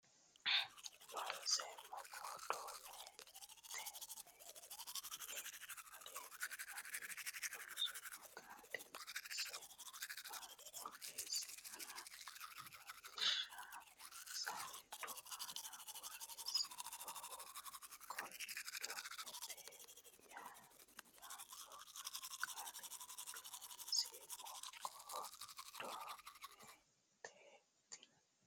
Loonseemmo Kon do me ten ni aleenni ani loosummo Xaadinse borreessiniro lawishsha saleedu aana borreessannohu Kondometenni yaanno qaaleeti Loonseemmo Kon do me ten ni.